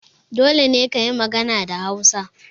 Dole ne kayi magana da Hausa!